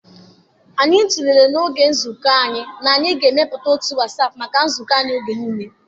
Anyị tụlere n'oge nzukọ ahụ na anyị ga-emepụta otu Wasap maka nzukọ anyị oge niile.